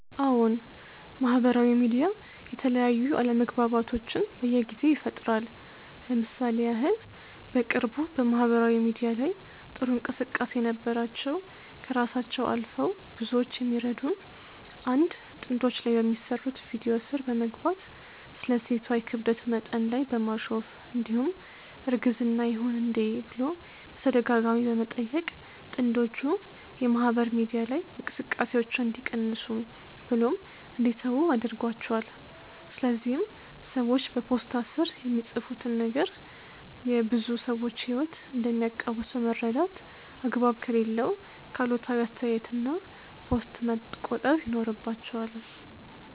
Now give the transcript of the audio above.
አዎን! ማህበራዊ ሚዲያ የተለያዩ አለመግባባቶችን በየጊዜው ይፈጥራል። ለምሳሌ ያህል በቅርቡ በማህበራዊ ሚዲያ ላይ ጥሩ እንቅስቃሴ የነበራቸው ከራሳቸው አልፈው ብዙዎቹ የሚረዱ 1 ጥንዶች ላይ በሚሰሩት ቪድዮ ስር በመግባት ስለ ሴቷ የክብደት መጠን ላይ በማሾፍ እንዲሁም እርግዝና ይሁን እንዴ ብሎ በተደጋጋሚ በመጠየቅ ጥንጆቹ የማህበር ሚዲያ ላይ እንቅስቃሴያቸውን እንዲቀንሱ ብሎም እንዲተዉ አድርጓቸዋል። ስለዚህም ሰዎች በፖስታ ስር የሚፃፉትን ነገር የብዙ ሰዎች ህይወት እንደሚያቀውስ በመረዳት አግባብ ከሌለው ከአሉታዊ አስተያየት እና ፖስት መቆጠብ ይኖርባቸዋል